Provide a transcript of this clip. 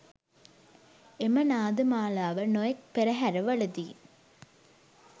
එම නාද මාලාව නොයෙක් පෙරහැරවලදී